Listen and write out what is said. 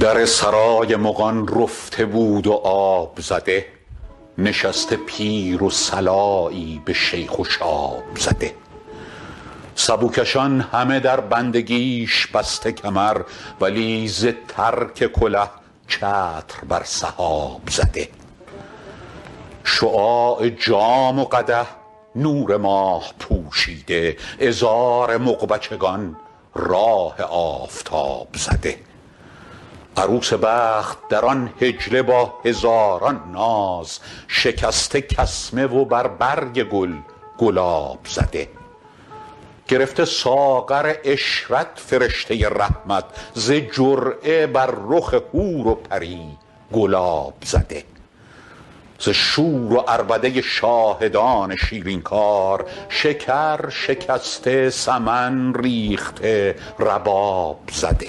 در سرای مغان رفته بود و آب زده نشسته پیر و صلایی به شیخ و شاب زده سبوکشان همه در بندگیش بسته کمر ولی ز ترک کله چتر بر سحاب زده شعاع جام و قدح نور ماه پوشیده عذار مغ بچگان راه آفتاب زده عروس بخت در آن حجله با هزاران ناز شکسته کسمه و بر برگ گل گلاب زده گرفته ساغر عشرت فرشته رحمت ز جرعه بر رخ حور و پری گلاب زده ز شور و عربده شاهدان شیرین کار شکر شکسته سمن ریخته رباب زده